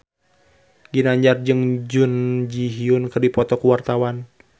Ginanjar jeung Jun Ji Hyun keur dipoto ku wartawan